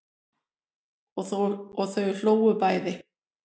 Og þau hlógu bæði.